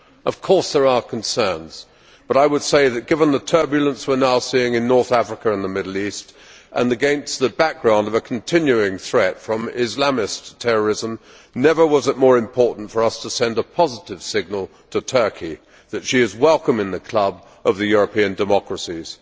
Of course there are concerns, but I would say that, given the turbulence we are now seeing in North Africa and the Middle East and against the background of a continuing threat from Islamist terrorism, never has it been more important for us to send a positive signal to Turkey that she is welcome in the club of the European democracies.